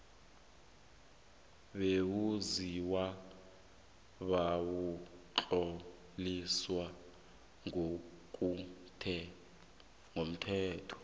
bewenziwa bewatloliswa ngokomthetho